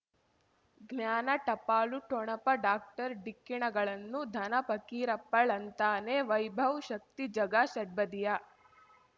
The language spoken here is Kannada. ಜ್ಞಾನ ಟಪಾಲು ಠೊಣಪ ಡಾಕ್ಟರ್ ಢಿಕ್ಕಿ ಣಗಳನು ಧನ ಫಕೀರಪ್ಪ ಳಂತಾನೆ ವೈಭವ್ ಶಕ್ತಿ ಝಗಾ ಷಟ್ಪದಿಯ